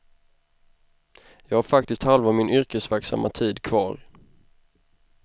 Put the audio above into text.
Jag har faktiskt halva min yrkesverksamma tid kvar.